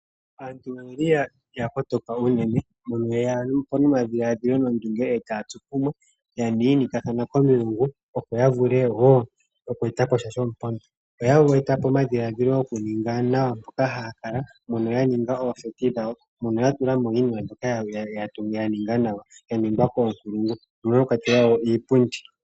Aantu oya kotoka unene no ye ya po nomadhiladhilo nondunge eta ya tsu kumwe. Yiinikathana komilungu opo ya vule woo oku eta po sha shomupondo. Oya eta po omadhiladhilo goku ninga nawa mpoka haya kala mono ya ninga oondunda dhawo dhoku gondja . Yatulamo iipindi mbyoka ya ningwa pawunkulungu.